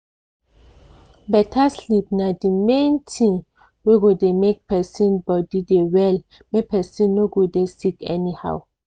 beta sleep na di main thing wey go make persin body dey well make persin no go dey sick anyhow.